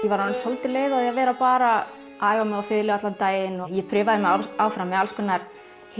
var orðin soldið leið á því að vera bara að æfa mig á fiðlu allan daginn ég prufaði mig áfram með alls konar